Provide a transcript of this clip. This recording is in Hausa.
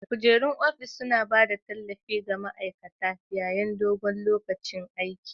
Kujerun ofis suna ba da tallafi ga ma'aikata yayin dogon lokacin aiki.